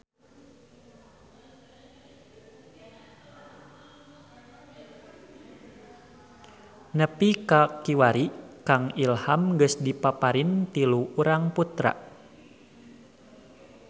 Nepi ka kiwari Kang Ilham geus dipaparin tilu urang putra